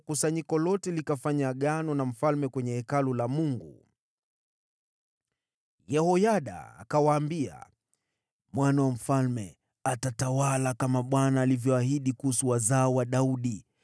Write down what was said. kusanyiko lote likafanya agano na mfalme katika Hekalu la Mungu. Yehoyada akawaambia, “Mwana wa mfalme atatawala, kama Bwana alivyoahidi kuhusu wazao wa Daudi.